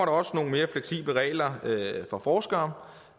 også nogle mere fleksible regler for forskere